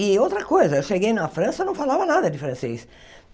E outra coisa, eu cheguei na França e não falava nada de francês.